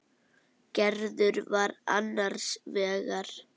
Gerður var annars vegar.